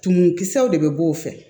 Tumumu kisɛw de be b'o fɛ